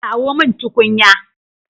Kawo mun tukunya